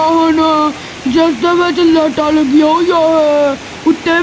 ਓਹ ਹੁਣ ਜਿੱਸਦੇ ਵਿੱਚ ਲਾਈਟਾਂ ਲੱਗੀਆਂ ਹੋਈਆਂ ਹੈਂ ਉੱਤੇ।